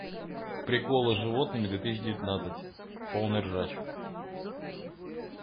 приколы с животными две тысячи девятнадцать полный ржач